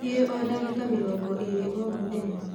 Thiī o ndagīka mīrongo īrī o mūthenya.